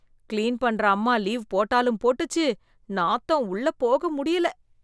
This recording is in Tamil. கிளீன் பண்ற அம்மா லீவ் போட்டாலும் போட்டுச்சு, நாத்தம், உள்ள போக முடியல.